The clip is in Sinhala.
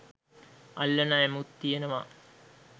අල්ලන ඇමුත් තියෙනවා.